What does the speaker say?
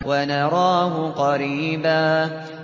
وَنَرَاهُ قَرِيبًا